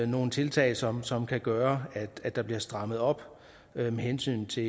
nogle tiltag som som kan gøre at der bliver strammet op med hensyn til